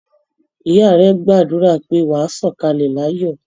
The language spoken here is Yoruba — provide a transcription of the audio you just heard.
Ìyá rẹ̀ gbàdúrà pé "wà á sọ̀kalẹ̀ láyọ̀".